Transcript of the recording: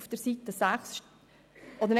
Was wünschen wir uns jetzt?